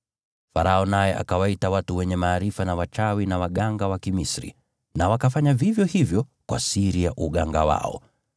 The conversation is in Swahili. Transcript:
Farao naye akawaita watu wenye maarifa na wachawi na waganga wa Kimisri, nao wakafanya vivyo hivyo kwa siri ya uganga wao.